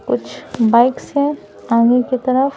कुछ बाइक्स हैं आगे की तरफ--